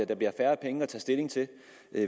der bliver færre penge at tage stilling til